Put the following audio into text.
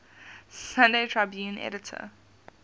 sunday tribune editor